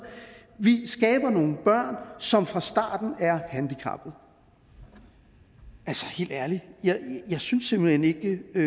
vi skaber nogle børn som fra starten er handicappede altså helt ærligt jeg synes simpelt hen ikke det er